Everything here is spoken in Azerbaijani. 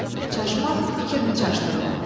Çaşmaq, fikrini çaşdırma.